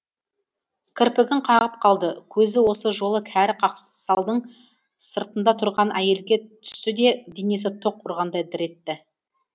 кірпігін қағып қалды көзі осы жолы кәрі қақсалдың сыртында тұрған әйелге түсті де денесі тоқ ұрғандай дір етті